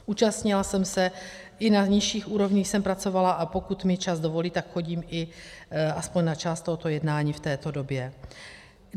Účastnila jsem se, i na nižších úrovních jsem pracovala, a pokud mi čas dovolí, tak chodím i alespoň na část tohoto jednání v této době.